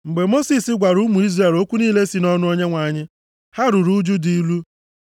Mgbe Mosis gwara ụmụ Izrel okwu niile si nʼọnụ Onyenwe anyị, ha ruru ụjụ dị ilu.